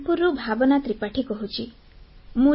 ମୁଁ କାନପୁରରୁ ଭାବନା ତ୍ରିପାଠୀ କହୁଛି